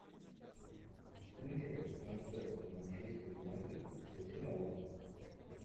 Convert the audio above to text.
включай трансляцию манчестер юнайтед с арсеналом